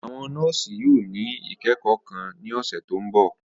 Àwọn nọọsi yóò ni ikẹkọ kan ni ọsẹ to nbọ.